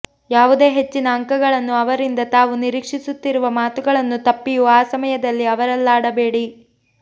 ಯಾವುದೇ ಹೆಚ್ಚಿನ ಅಂಕಗಳನ್ನು ಅವರಿಂದ ತಾವು ನಿರೀಕ್ಷಿಸುತ್ತಿರುವ ಮಾತುಗಳನ್ನು ತಪ್ಪಿಯೂ ಆ ಸಮಯದಲ್ಲಿ ಅವರಲ್ಲಾಡಬೇಡಿ